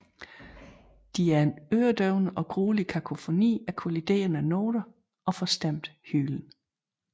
De er en øredøvende og gruelig kakofoni af kolliderende noter og forstemt hylen